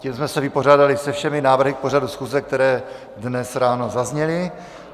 Tím jsme se vypořádali se všemi návrhy k pořadu schůze, které dnes ráno zazněly.